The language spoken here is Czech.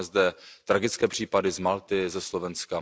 Máme zde tragické případy z Malty, ze Slovenska.